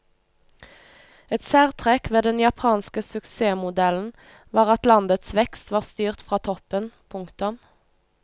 Et særtrekk ved den japanske suksessmodellen var at landets vekst var styrt fra toppen. punktum